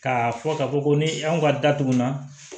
Ka fɔ ka fɔ ko ni anw ka da tugunna